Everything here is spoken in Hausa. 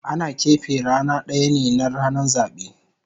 Ana kepe rana daya ne na ranan zabe